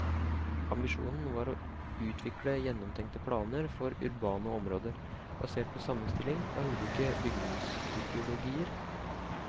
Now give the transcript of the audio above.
Ambisjonen var å utvikle gjennomtenkte planer for urbane områder, basert på sammenstilling av ulike bygningstypologier.